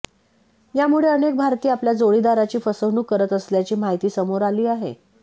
यामुळे अनेक भारतीय आपल्या जोडीदाराची फसवणूक करत असल्याची माहिती समोर आली आहे